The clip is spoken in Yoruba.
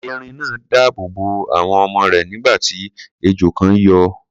Erin náà dáàbò bo àwọn ọmọ rẹ̀, nígbà tí ejò kan yọ.